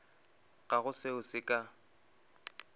ga go seo se ka